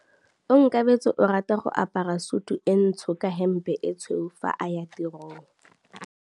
Onkabetse o rata go apara sutu e ntsho ka hempe e tshweu fa a ya tirong.